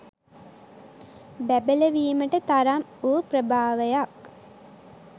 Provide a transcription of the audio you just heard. බැබලවීමට තරම් වූ ප්‍රභාවයක්